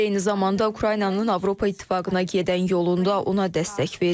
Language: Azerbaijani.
Biz eyni zamanda Ukraynanın Avropa İttifaqına gedən yolunda ona dəstək veririk.